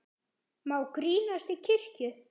Má grínast í kirkju?